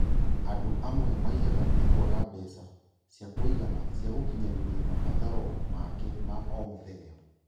Andũ amwe maiyaga nĩ kwaga mbeca ciakũigana cia gũkinyanĩria mabataro maake ma omũthenya